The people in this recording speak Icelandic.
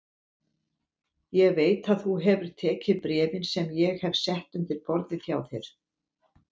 Ég veit að þú hefur tekið bréfin sem ég hef sett undir borðið hjá þér